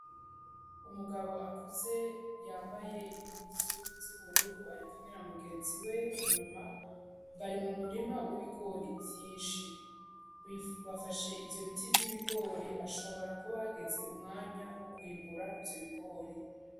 Umugabo akuze yambaye imwuzu z'ubururu ari kumwe na mugenzi we inyuma bari mu murima w'ibigori vyinshi bafashe ivyo biti vy'ibigori ashobora kubageze umwanya wo kwimbura ivyo bigori.